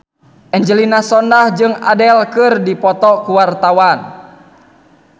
Angelina Sondakh jeung Adele keur dipoto ku wartawan